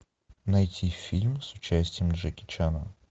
найти фильм с участием джеки чана